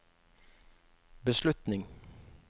beslutning